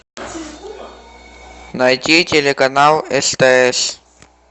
найти телеканал стс